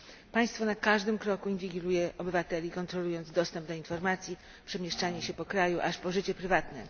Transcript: Państwo na każdym kroku inwigiluje obywateli, kontrolując dostęp do informacji, przemieszczanie się w ramach kraju aż po życie prywatne.